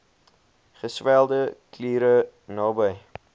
geswelde kliere naby